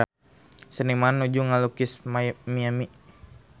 Seniman nuju ngalukis Miami